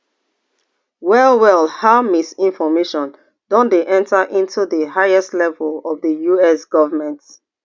wellwell how misinformation don dey enter into di highest levels of di us government